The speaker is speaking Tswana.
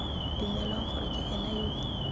dumelwang gore ke ena yo